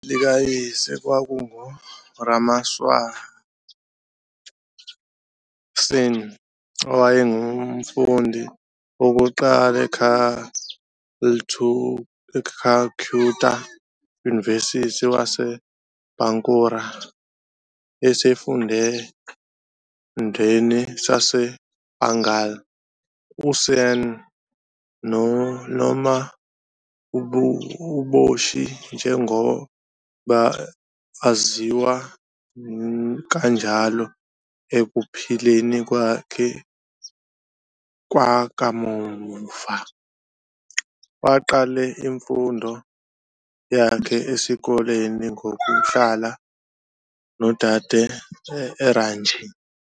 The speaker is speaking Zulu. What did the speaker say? Likayise kwakunguRameswar Sen, owayengumfundi wokuqala e-Calcutta University wase-Bankura esifundeni sase-Bengal. USen, noma uBoshi njengoba aziwa kanjalo ekuphileni kwakhe kwakamuva, waqeda imfundo yakhe yesikole ngokuhlala nodade eRanchi.